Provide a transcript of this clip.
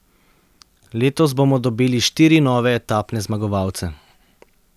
Letos bomo dobili štiri nove etapne zmagovalce.